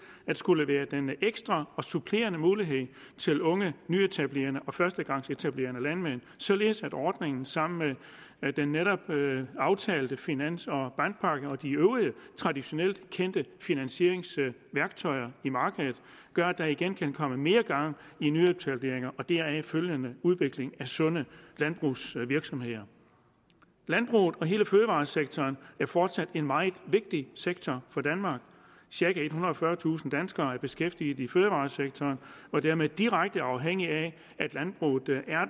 at skulle være den ekstra og supplerende mulighed til unge nyetablerende og førstegangsetablerende landmænd således at ordningen sammen med den netop aftalte finans og bankpakke og de øvrige traditionelt kendte finansieringsværktøjer i markedet gør at der igen kan komme mere gang i nyetableringer og deraf følgende udvikling af sunde landbrugsvirksomheder landbruget og hele fødevaresektoren er fortsat en meget vigtig sektor for danmark cirka ethundrede og fyrretusind danskere er beskæftiget i fødevaresektoren og dermed direkte afhængige af at landbruget